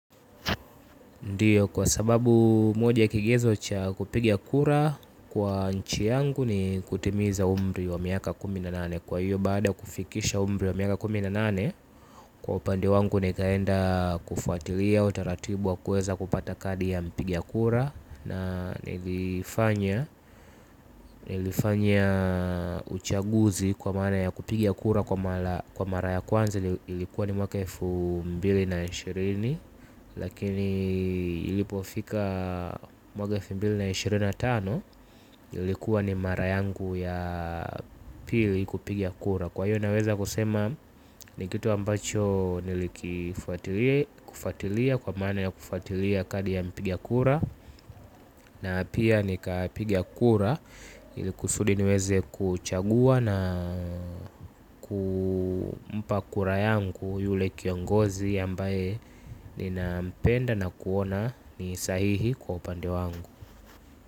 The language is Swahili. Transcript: Ndiyo, kwa sababu moja kigezo cha kupiga kura kwa nchi yangu ni kutimiza umri wa miaka kumi na nane. Kwa hivyo baada ya kufikisha umri wa miaka kumi na nane, kwa upande wangu nikaenda kufuatilia utaratibu wa kuweza kupata kadi ya mpiga kura. Na nilifanya uchaguzi kwa maana ya kupiga kura kwa mara ya kwanza ilikuwa ni mwaka elfu mbili na ishirini. Lakini ilipofika mwaka elfu mbili na ishirini na tano ndo ilikuwa ni mara yangu ya pili kupiga kura. Kwa hiyo naweza kusema ni kitu ambacho nilikifuatilia kwa maana ya kufuatilia kadi ya mpiga kura. Na pia nikapiga kura. Ili kusudi niweze kuchagua na kumpa kura yangu yule kiongozi ambaye ninampenda na kuona ni sahihi kwa upande wangu.